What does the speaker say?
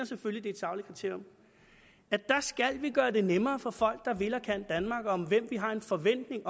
selvfølgelig det er skal gøre det nemmere for folk der vil og kan danmark og om hvem vi har den forventning